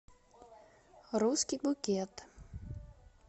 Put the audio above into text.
русский букет